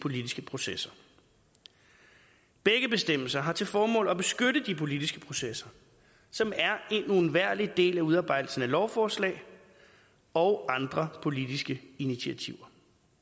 politiske processer begge bestemmelser har til formål at beskytte de politiske processer som er en uundværlig del af udarbejdelsen af lovforslag og andre politiske initiativer